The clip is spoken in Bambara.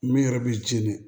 Min yɛrɛ b'i jeni